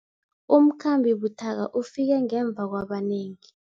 Umkhambi buthaka ufike ngemva kwabanengi.